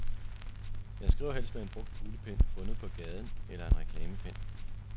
Jeg skriver helst med en brugt kuglepen fundet på gaden, eller en reklamepen.